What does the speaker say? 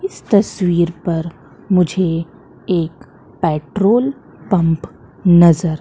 इस तस्वीर पर मुझे एक पेट्रोल पंप नजर--